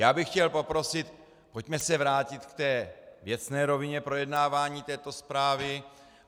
Já bych chtěl poprosit, pojďme se vrátit k té věcné rovině projednávání této zprávy.